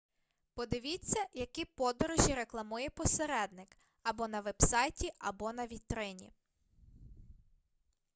подивіться які подорожі рекламує посередник або на вебсайті або на вітрині